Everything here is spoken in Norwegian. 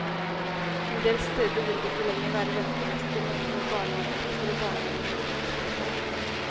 Endel steder vil det ikke lenger være ventelister, men tomme barnehaveplasser, og barnehaver må innskrenke.